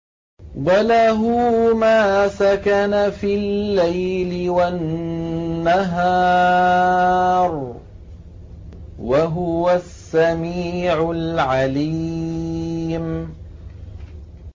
۞ وَلَهُ مَا سَكَنَ فِي اللَّيْلِ وَالنَّهَارِ ۚ وَهُوَ السَّمِيعُ الْعَلِيمُ